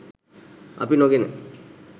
අපි නොගෙන